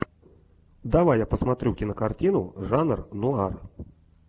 давай я посмотрю кинокартину жанр нуар